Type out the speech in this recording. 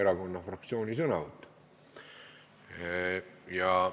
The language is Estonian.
Praegu ma tunnen ennast seal päris mugavalt – nagu üks vanaproua ütles, et ma olen legaalne reinuvader kanalas.